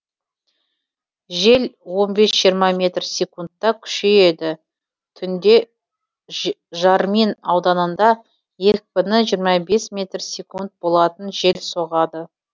жел он бес жиырма метр секундта күшейеді түнде жармин ауданында екпіні жиырма бес метр секунд болатын жел соғады